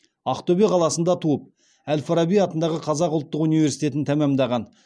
ақтөбе қаласында туып әл фараби атындағы қазақ ұлттық университетін тәмамдаған